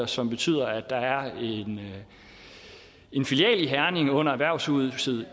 som betyder at der er en filial i herning under erhvervshuset